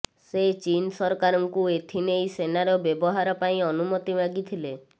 ସେ ଚୀନ ସରକାରଙ୍କୁ ଏଥିନେଇ ସେନାର ବ୍ୟବହାର ପାଇଁ ଅନୁମତି ମାଗିଥିଲେ